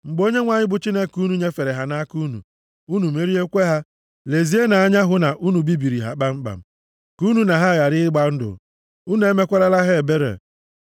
mgbe Onyenwe anyị bụ Chineke unu nyefere ha nʼaka unu, unu meriekwa ha, lezienụ anya hụ na unu bibiri ha kpamkpam. Ka unu na ha ghara ịgba ndụ, unu emekwarala ha ebere.